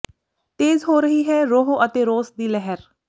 ਤੇਜ਼ ਹੋ ਰਹੀ ਹੈ ਰੋਹ ਅਤੇ ਰੋਸ ਦੀ ਲਹਿਰ